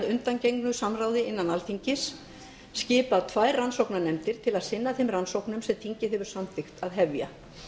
undangengnu samráði innan alþingis skipað tvær rannsóknarnefndir til þess að sinna þeim rannsóknum sem þingið hefur samþykkt að hefja